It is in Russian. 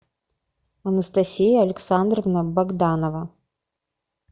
анастасия александровна богданова